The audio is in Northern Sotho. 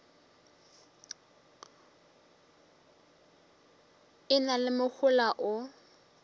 e na le mohola o